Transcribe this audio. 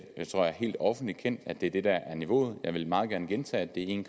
tror jeg helt offentligt kendt at det er det der er niveauet jeg vil meget gerne gentage at det er en